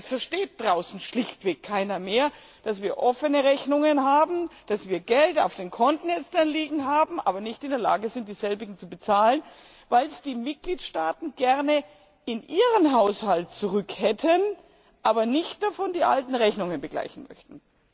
Das versteht draußen schlichtweg keiner mehr, dass wir offene Rechnungen haben, dass wir Gelder auf den Konten liegen haben, aber nicht in der Lage sind, die Rechnungen zu bezahlen, weil es die Mitgliedstaaten gern in ihren Haushalt zurück hätten, davon aber nicht die alten Rechnungen begleichen möchten.